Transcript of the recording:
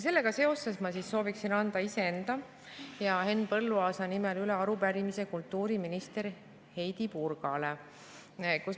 Sellega seoses sooviksin anda iseenda ja Henn Põlluaasa nimel üle arupärimise kultuuriminister Heidy Purgale.